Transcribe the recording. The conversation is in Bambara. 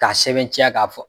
K'a sɛbɛntiya k'a fɔ